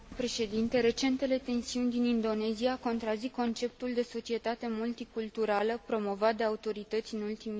Recentele tensiuni din Indonezia contrazic conceptul de societate multiculturală promovat de autorități în ultimii ani.